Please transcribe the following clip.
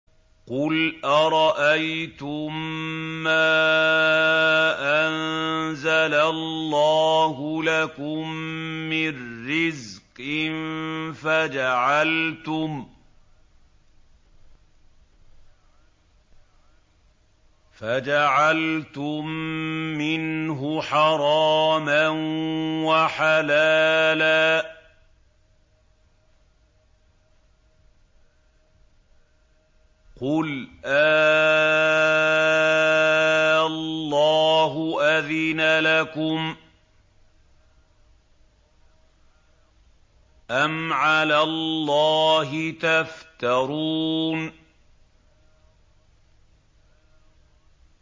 قُلْ أَرَأَيْتُم مَّا أَنزَلَ اللَّهُ لَكُم مِّن رِّزْقٍ فَجَعَلْتُم مِّنْهُ حَرَامًا وَحَلَالًا قُلْ آللَّهُ أَذِنَ لَكُمْ ۖ أَمْ عَلَى اللَّهِ تَفْتَرُونَ